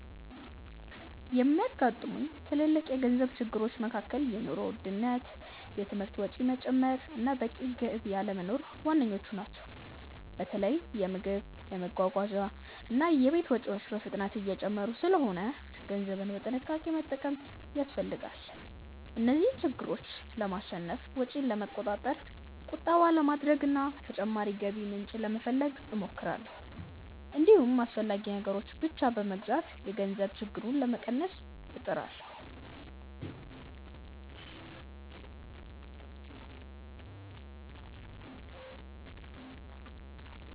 የሚያጋጥሙኝ ትልልቅ የገንዘብ ችግሮች መካከል የኑሮ ውድነት፣ የትምህርት ወጪ መጨመር እና በቂ ገቢ አለመኖር ዋነኞቹ ናቸው። በተለይ የምግብ፣ የመጓጓዣ እና የቤት ወጪዎች በፍጥነት እየጨመሩ ስለሆነ ገንዘብን በጥንቃቄ መጠቀም ያስፈልጋል። እነዚህን ችግሮች ለማሸነፍ ወጪን ለመቆጣጠር፣ ቁጠባ ለማድረግ እና ተጨማሪ የገቢ ምንጭ ለመፈለግ እሞክራለሁ። እንዲሁም አስፈላጊ ነገሮችን ብቻ በመግዛት የገንዘብ ችግሩን ለመቀነስ እጥራለሁ።